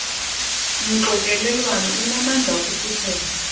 mxokelelwano unamandla okufuthela